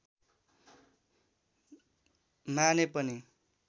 माने पनि